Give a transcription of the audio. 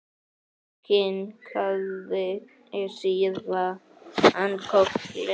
Kinkaði síðan kolli.